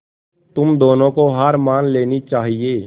तुम दोनों को हार मान लेनी चाहियें